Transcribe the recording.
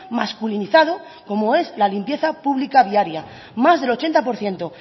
masculinizado como es la limpieza pública viaria más el ochenta por ciento